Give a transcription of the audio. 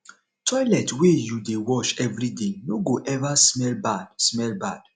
toilet wey you dey wash every day no go ever smell bad smell bad